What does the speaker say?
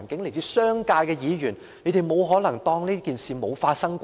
來自商界的議員不可能對這情況置若罔聞吧？